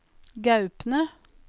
Gaupne